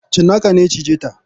Cinnaka ne ya cije ta.